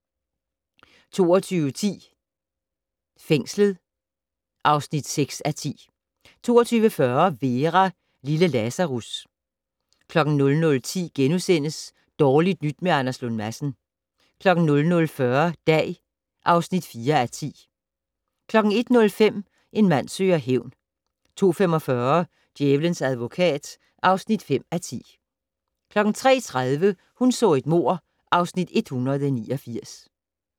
22:10: Fængslet (6:10) 22:40: Vera: Lille Lazarus 00:10: Dårligt nyt med Anders Lund Madsen * 00:40: Dag (4:10) 01:05: En mand søger hævn 02:45: Djævelens advokat (5:10) 03:30: Hun så et mord (Afs. 189)